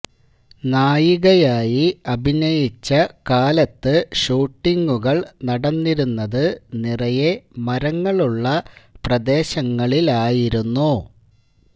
നായികയായി അഭിനയിച്ച കാലത്ത് ഷൂട്ടിംഗുകള് നടന്നിരുന്നത് നിറയെ മരങ്ങളുള്ള പ്രദേശങ്ങളിലായിരുന്നു